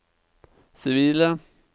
sivile